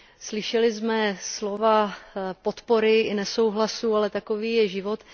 Slyšeli jsme slova podpory i nesouhlasu, ale takový je život.